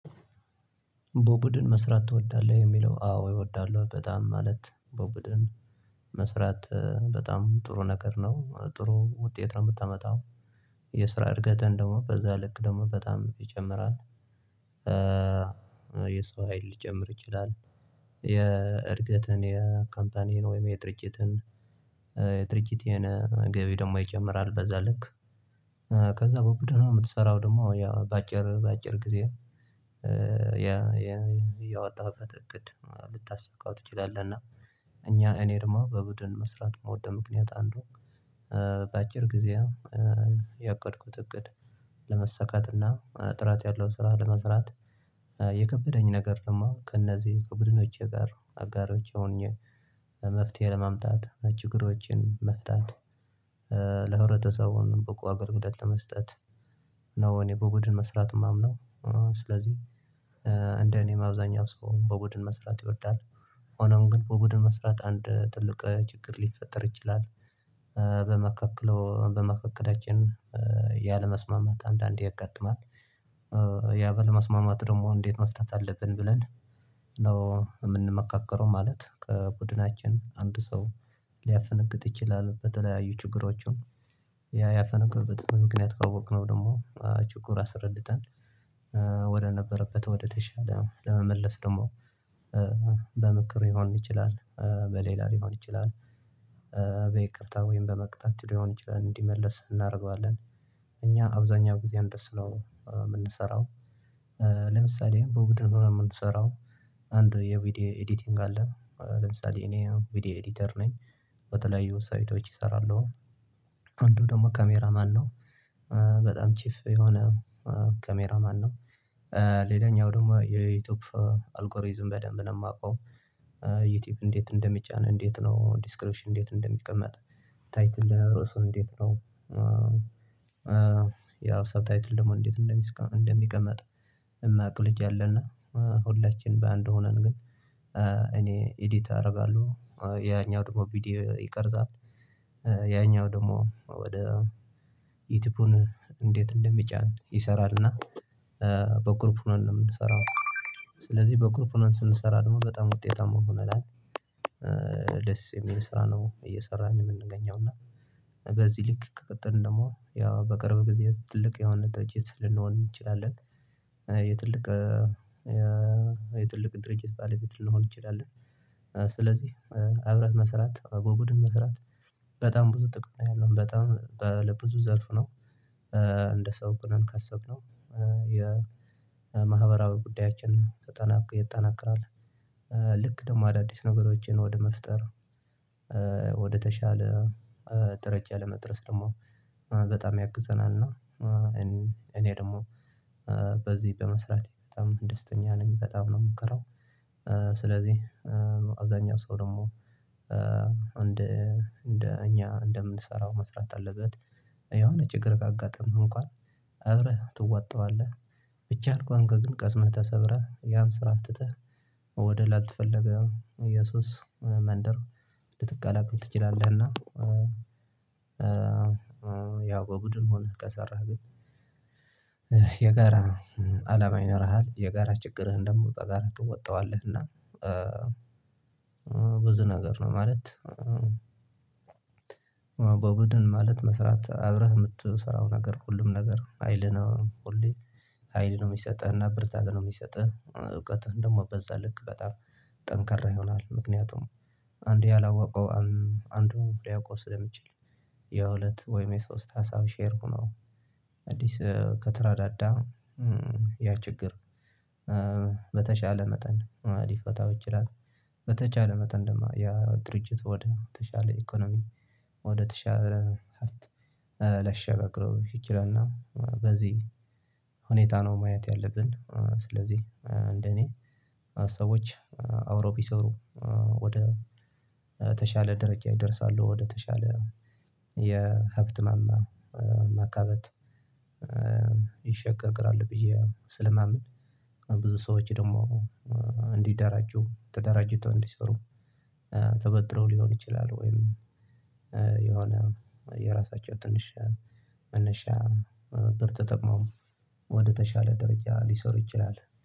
በቡድን መስራት ትወዳለህ የሚለው አዎ እወዳለሁ በጣም ማለት በቡድን መስራት በጣም ጥሩ ነገር ነው ጥሩ ውጤት ነው። የምታመጣው የስራ እድገትን ደግሞ በዛ ልክ ደግሞ በጣም ይጨምራል። የሰው ሀይል ልጨምር ይችላል። የእድገትህን የካምታኒያን ወይም የጥርጭትን የጥርጭቴን ገቢ ደግሞ ይጨምራል በዛ ልክ። ከዛ በቡድን ነው የምትሰራው ደግሞ ያ በአጭር በአጭር ጊዜ ያ የወጣህበት እቅድ ልታሳካው ትችላለህ። እና እኛ እኔ ደግሞ በቡድን መስራት ምውደድ። ምክንያት አንዱ በአጭር ጊዜ ያቀድኩት እቅድ ለመሰካትና ጥራት ያለው ስራ ለመስራት የከበደኝ ነገር ነው። ከእነዚህ ከቡድኖቼ ጋር አጋሮች ሆኜ መፍትሄ ለመምጣት ችግሮችን መፍታት። ለህብረተሰቡን በቁ አገር ግደል ለመስጠት ነው። እኔ በቡድን መስራት የማምነው። ስለዚህ እንደ እኔም አብዛኛው ሰው በቡድን መስራት ይወዳል። ሆኖም ግን በቡድን መስራት አንድ ትልቅ ችግር ሊፈጠር ይችላል። በመካከለው በመካከላችን ያለመስማማት አንዳንድ ያጋጥማል። ያ ባለማስማማት ደግሞ እንዴት መፍታት አለብን ብለን ነው የምንመካከረው። ማለት ከቡድናችን አንድ ሰው ሊያፈነግጥ ይችላል። በተለያዩ ችግሮችን ያ ያፈነገጠበት ምክንያት ካወቅነው ደግሞ ችኩር አስረድተን። ወደ ነበረበት ወደ ተሻለ ለመመለስ ደግሞ በመክር ሊሆን ይችላል። በሌላ ሊሆን ይችላል። በይቅርታ ወይም በመቅጣት ሊሆን ይችላል እንዲመለስ እናደርገዋለን። እኛ አብዛኛው ጊዜ አንደሱ ነው የምንሰራው። ለምሳሌ በእውቀት ነው የምንሰራው። አንድ የቪዲዮ ኤዲቲንግ አለ ለምሳሌ እኔ ቪዲዮ ኤዲተር ነኝ። በተለያዩ ሳይቶች እሰራለሁ። አንዱ ደግሞ ካሜራ ማነው? በጣም ቺፍ የሆነ ካሜራ ማነው? ሌላኛው ደግሞ የዩቲዩብ አልጎሪዝም በደንብ ነው የማውቀው። ዩቲዩብ እንዴት እንደሚጫነን እንዴት ነው ዲስክሪፕሽን እንዴት እንደሚቀመጥ ታይትል ለሮሶ እንዴት ነው? ያውሰብ ታይትል ደግሞ እንዴት እንደሚቀመጥ። የማያውቅ ልጅ አለና ሁላችንም በአንድ ሆነን ግን እኔ ኤዲት አደርጋለሁ ያኛው ደግሞ ቪዲዮ ይቀርጻል። ያኛው ደግሞ ወደ ዩቲዩብን እንዴት እንደሚጫን ይሰራል። እና በግሩፕ ሁነን ነው የምንሰራው። ስለዚህ በግሩፕ ሆነን ስንሰራ ደግሞ በጣም ውጤታማ መሆን አለብን። ደስ የሚል ስራ ነው እየሰራን የምንገኘው። እና በዚህ ልክ ከቀጥል ደግሞ ያው በቅርብ ጊዜ ትልቅ የሆነ ደጀት ልንሆን እንችላለን። የትልቅ የትልቅ ድርጅት ባለፊት ልንሆን እንችላለን። ስለዚህ አብረን መስራት በቡድን መስራት በጣም ብዙ ጥቅም ነው ያለው በጣም ለብዙ ዘርፍ ነው። እንደ ሰው ግን ካሰብነው የማህበራዊ ጉዳያችን ያጠናቀቃል። ልክ ደግሞ አዳዲስ ነገሮችን ወደ መፍጠር ወደተሻለ ደረጃ ለመድረስ ደግሞ በጣም ያግዘናል። እና እኔ ደግሞ በዚህ በመስራቴ በጣም ደስተኛ ነኝ በጣም ነው የምኮራው። ስለዚህ አብዛኛው ሰው ደግሞ እንደ እኛ እንደምንሰራው መስራት አለበት። የሆነ ችግር አጋጠመህ እንኳን አብረህ ትዋጠዋለህ። ብቻህን ከሆንክ ግን ስስምህ ተሰብሮያን ስራ ትተህ ወደ ላልተፈለገ እየሱስ መንደር ልትቀላቀል ትችላለህና። እና ያው በቡድን ሆነህ ከሰራህ ግን የጋራ አላማ ይኖርሃል። የጋራ ችግርህን ደግሞ በጋራ ትወጣዋለህ። እና ብዙ ነገር ነው ማለት። በቡድን ማለት መስራት አብረህ የምትሰራው ነገር ሁሉም ነገር ሀይል ነው። ሁሌ ሀይል ነው የሚሰጥህ እና ብርታት ነው የሚሰጥህ። እውቀትህን ደግሞ በዛ ልክ በጣም ጠንከራ ይሆናል። ምክንያቱም አንዴ ያላወቀው አንዱም ሊያውቀው ስለሚችል። የሁለት ወይም የሶስት ሀሳብ ሼር ሆኖ አዲስ ከተረዳዳ ያ ችግር። በተቻለ መጠን ሊፈታው ይችላል። በተቻለ መጠን ያው ድርጅቱ ወደ ተሻለ ኢኮኖሚ ወደ ተሻለ ሊያሸጋግረው ይችላልና። በዚህ ሁኔታ ነው ማየት ያለብን። ስለዚህ እንደኔ ሰዎች አብረውቢሰሩ ወደ ተሻለ ደረጃ ይደርሳሉ። ወደ ወደተሻለ የሀብት ማማ ማካበት ይሸጋገራሉ ብዬ ስለማምን። ብዙ ሰዎች ደግሞ እንዲደራጁ ተደራጅተው እንዲሰሩ ተበድረው ሊሆን ይችላል። ወይም የሆነ የራሳቸው ትንሽ መነሻ ብር ተጠቅመው ወደተሻለ ደረጃ ሊሰሩ ይችላል